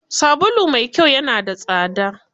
Sabulu mai kyau ya na da tsada.